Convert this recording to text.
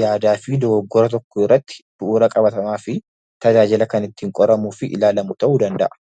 yaadaa fi dogoggora tokko irratti bu'uura qabatamaa fi tajaajila kan ittiin qoramuu fi ilaalamu ta'uu danda'a.